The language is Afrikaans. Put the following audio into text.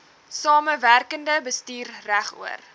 samewerkende bestuur regoor